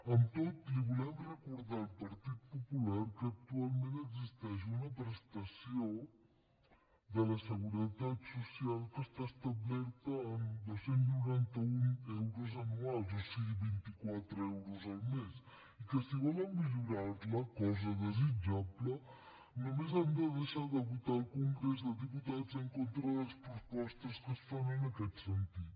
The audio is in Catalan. amb tot li volem recordar al partit popular que actualment existeix una prestació de la seguretat social que està establerta en dos cents i noranta un euros anuals o sigui vint quatre euros al mes i que si volen millorar la cosa desitjable només han de deixar de votar al congrés dels diputats en contra de les propostes que es fan en aquest sentit